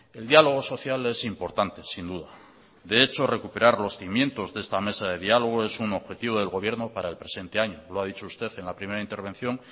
el diálogo social es importante sin duda de hecho recuperar los cimientos de esta mesa de diálogo es un objetivo del gobierno para el presente año lo ha dicho usted en la primera intervención